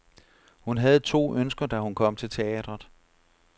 Hun havde to ønsker, da hun kom til teatret.